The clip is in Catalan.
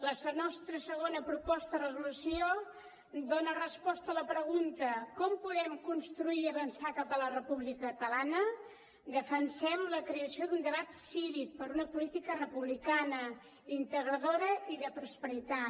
la nostra segona proposta de resolució dona resposta a la pregunta com podem construir i avançar cap a la república catalana defensem la creació d’un debat cívic per una política republicana integradora i de prosperitat